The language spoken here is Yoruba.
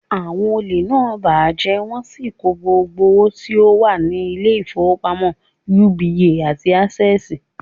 Àwon olè náà bàjẹ́ wọ́n sì kó gbogbo owo tí ó wà ni Ilé ìfowópamọ́ UBA àti Access